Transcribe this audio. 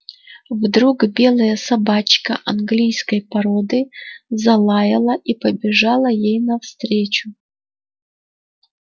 вдруг белая собачка английской породы залаяла и побежала ей навстречу